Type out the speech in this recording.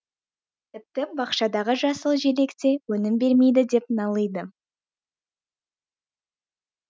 тіпті бақшадағы жасыл желек те өнім бермейді деп налиды